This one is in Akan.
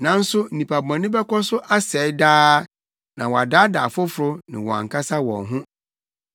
nanso nnipa bɔne bɛkɔ so asɛe daa na wɔadaadaa afoforo ne wɔn ankasa wɔn ho.